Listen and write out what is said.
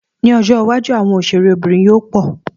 Ní ọjọ́ iwájú, àwọn òṣèré bìnrin yóò pọ̀